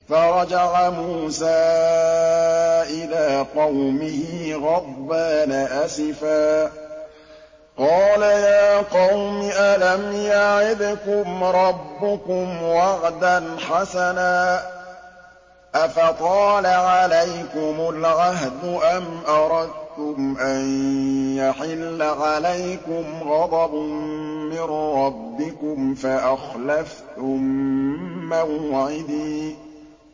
فَرَجَعَ مُوسَىٰ إِلَىٰ قَوْمِهِ غَضْبَانَ أَسِفًا ۚ قَالَ يَا قَوْمِ أَلَمْ يَعِدْكُمْ رَبُّكُمْ وَعْدًا حَسَنًا ۚ أَفَطَالَ عَلَيْكُمُ الْعَهْدُ أَمْ أَرَدتُّمْ أَن يَحِلَّ عَلَيْكُمْ غَضَبٌ مِّن رَّبِّكُمْ فَأَخْلَفْتُم مَّوْعِدِي